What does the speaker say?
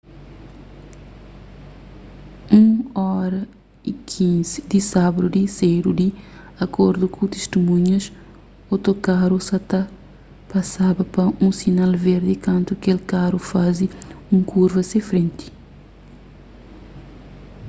1:15 di sábadu di sedu di akordu ku tistimunhas otokaru sa ta pasaba pa un sinal verdi kantu kel karu faze un kurva se frenti